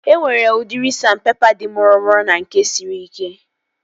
E nwere udiri sandpepa dị mụrụmụrụ na nke siri ike